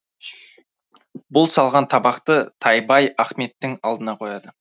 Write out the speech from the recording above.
бұл салған табақты тайбай ахметтің алдына қояды